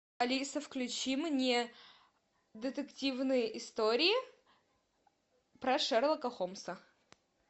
алиса включи мне детективные истории про шерлока холмса